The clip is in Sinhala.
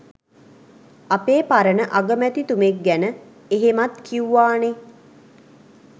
අපේ පරණ අගමැතිතුමෙක් ගැන එහෙමත් කිව්වානෙ.